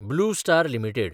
blue star limited